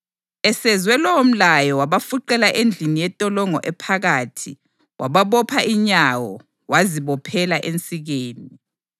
Esezwe lowomlayo wabafuqela endlini yentolongo ephakathi wababopha inyawo, wazibophela ensikeni.